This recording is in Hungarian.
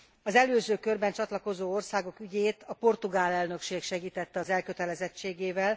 Az előző körben csatlakozó országok ügyét a portugál elnökség segítette az elkötelezettségével.